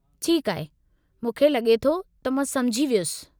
ठीकु आहे, मूंखे लगे॒ थो त मां सममुझी वियुसि।